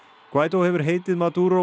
guaidó hefur heitið